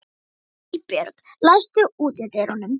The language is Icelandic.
Hallbjörg, læstu útidyrunum.